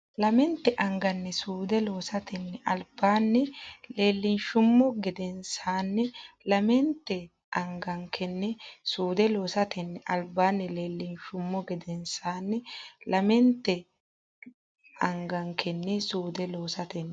Lamente angankenni suude loosatenni albaanni leellinshummo gedensaanni lamenta Lamente angankenni suude loosatenni albaanni leellinshummo gedensaanni lamenta Lamente angankenni suude loosatenni.